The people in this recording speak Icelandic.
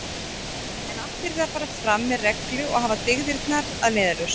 En allt yrði að fara fram með reglu og hafa dygðirnar að leiðarljósi.